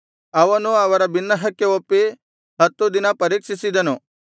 ಅವನು ಅವರ ಬಿನ್ನಹಕ್ಕೆ ಒಪ್ಪಿ ಹತ್ತು ದಿನ ಪರೀಕ್ಷಿಸಿದನು